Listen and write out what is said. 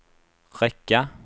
räcka